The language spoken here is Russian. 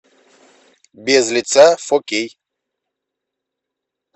без лица фо кей